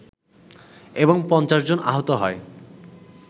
এবং ৫০ জন আহত হয়